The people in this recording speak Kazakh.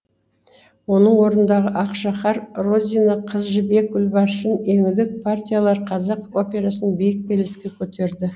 оның орындаған ақшақар розина қыз жібек гүлбаршын еңлік партиялары қазақ операсын биік белеске көтерді